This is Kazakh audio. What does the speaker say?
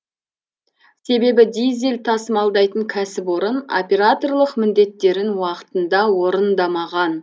себебі дизель тасымалдайтын кәсіпорын операторлық міндеттерін уақытында орындамаған